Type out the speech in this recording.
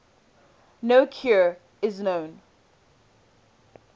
no cure is known